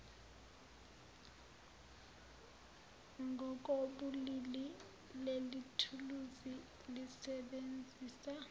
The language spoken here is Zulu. ngokobulili lelithuluzi lisebenzisa